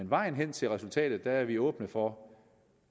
vejen hen til resultatet er vi åbne for